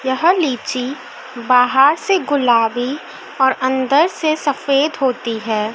यह लीची बाहर से गुलाबी और अंदर से सफेद होती है।